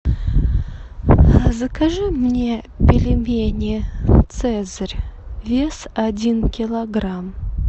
закажи мне пельмени цезарь вес один килограмм